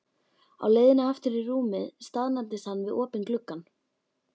Á leiðinni aftur í rúmið staðnæmdist hann við opinn gluggann.